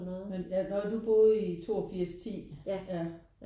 Men ja når du boede i 8210 ja